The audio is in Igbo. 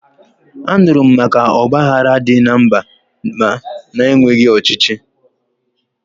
Anụrụ m maka ọgbaghara dị na mba na-enweghi ọchịchị